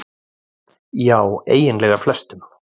Já eiginlega flestum.